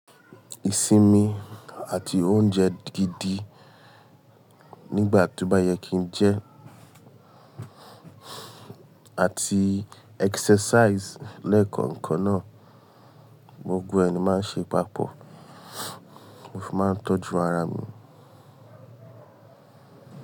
Ìsinmi àti oúnjẹ gidi nígbà tó bá yẹ kí n jẹ, àti exercise lẹ́ẹ̀kan kan náà, gbogbo ẹ̀ ni máa ń ṣe papọ̀, mó fi máa ń tọ́jú ara mi.